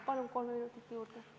Palun kolm minutit juurde!